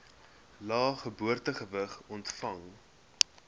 lae geboortegewig ontvang